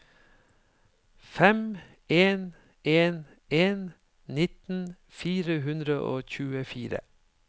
fem en en en nitten fire hundre og tjuefire